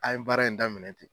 An ye baara in daminɛ ten.